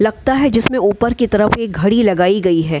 लगता है जिसमे ऊपर की तरफ एक घडी लगायी गयी है।